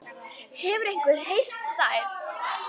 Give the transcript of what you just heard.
Hefur einhver heyrt þær?